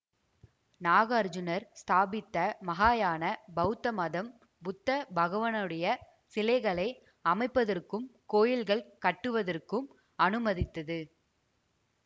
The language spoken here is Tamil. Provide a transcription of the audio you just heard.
நாகார்ஜூனர் ஸ்தாபித்த மகாயான பௌத்த மதம் புத்த பகவனுடைய சிலைகளை அமைப்பதற்கும் கோயில்கள் கட்டுவதற்கும் அநுமதித்தது